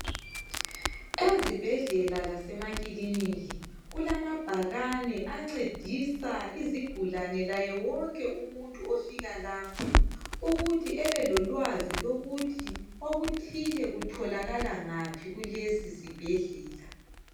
Ezibhedlela lasemakiliniki kulamabhakane ancedisa izigulane layewonke umuntu ofika lapha ukuthi ebelolwazi lokuthi okuthile kutholakala ngaphi kulesi sibhedlela